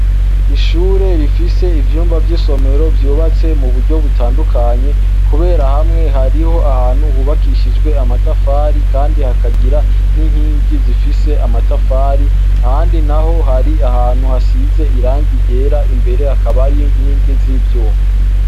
Ishure rifis' ivyumba vyisomero vyubatse mu buryo butandukanye, kubera hamwe harih' ahantu hubakishijw' amatafari kandi hakagira n' inkingi zifis' amatafari, ahandi naho har' ahantu hasiz' irangi ryer' imbere hakaba hariho n' inkingi z' ivyuma.